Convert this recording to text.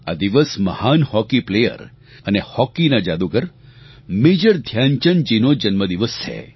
આ દિવસ મહાન હોકીપ્લેયર અને હોકીના જાદુગર મેજર ધ્યાનચંદજીનો જન્મદિવસ છે